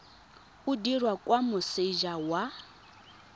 o dirwa kwa moseja wa